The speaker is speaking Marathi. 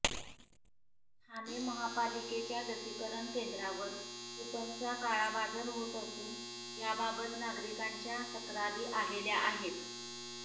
ठाणे महापालिकेच्या लसीकरण केंद्रावर कुपनचा काळाबाजर होत असून याबाबत नागरिकांच्या तक्रारी आलेल्या आहेत